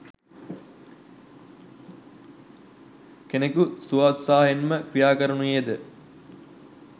කෙනකු ස්වෝත්සාහයෙන්ම ක්‍රියා කරනුයේද